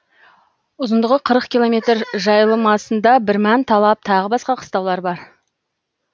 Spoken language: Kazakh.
ұзындығы қырық километр жайылмасында бірман талап тағы басқа қыстаулар бар